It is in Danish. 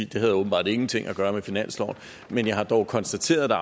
det havde åbenbart ingenting at gøre med finansloven men jeg har dog konstateret at der